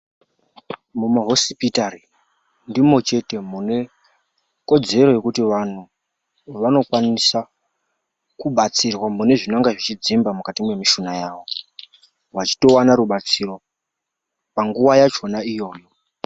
Mumahosipitari ndimwo chete mune kodzero yekuti vantu vanokwanisa kubatsirwa mune zvinonga zvechidzimba mukati mwemishuna yavo, vachitowana rubatsiro panguwa yachona iyoyo.